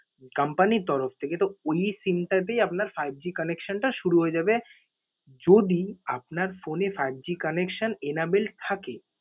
company র তরফ থেকে। তো ঐ SIM তাতেই আপনার fiveG connection টা শুরু হয়ে যাবে যদি আপনার phone এ fiveG connection enable থাকে।